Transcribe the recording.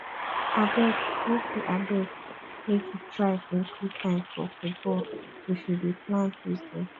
abeg make you abeg make you try include time for football if you dey plan weekend